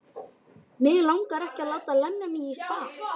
Mig langar ekki að láta lemja mig í spað.